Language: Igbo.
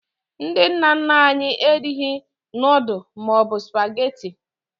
Ndị nna nna anyị erighi nudu maọbụ spagetị